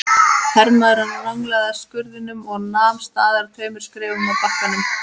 Hermaðurinn ranglaði að skurðinum og nam staðar tveimur skrefum frá bakkanum.